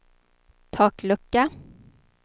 taklucka